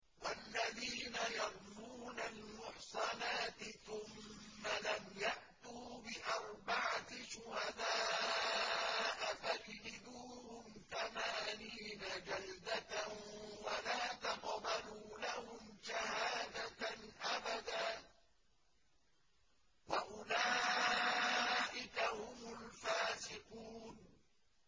وَالَّذِينَ يَرْمُونَ الْمُحْصَنَاتِ ثُمَّ لَمْ يَأْتُوا بِأَرْبَعَةِ شُهَدَاءَ فَاجْلِدُوهُمْ ثَمَانِينَ جَلْدَةً وَلَا تَقْبَلُوا لَهُمْ شَهَادَةً أَبَدًا ۚ وَأُولَٰئِكَ هُمُ الْفَاسِقُونَ